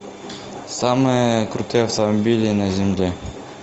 самые крутые автомобили на земле